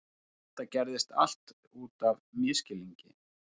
Þetta gerðist allt út af misskilningi.